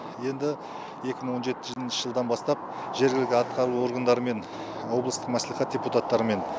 енді екі мың он жетінші жылдан бастап жергілікті атқару органдарымен облыстық мәслихат депутаттарымен